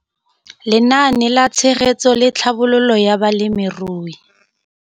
Lenaane la Tshegetso le Tlhabololo ya Balemirui